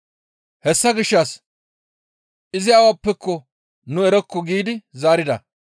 Hessa gishshas, «Izi awappeko nu erokko» giidi zaarida.